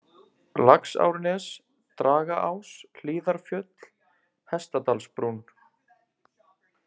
Laxárnes, Dragaás, Hlíðarfjöll, Hestadalsbrún